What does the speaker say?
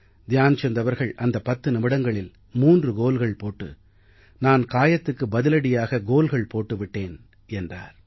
த்யான் சந்த் அவர்கள் அந்தப் பத்து நிமிடங்களில் 3 கோல்கள் போட்டு நான் காயத்துக்கு பதிலடியாக கோல்கள் போட்டுவிட்டேன் என்றார்